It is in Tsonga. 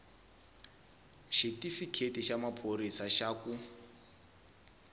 xitifiketi xa maphorisa xa ku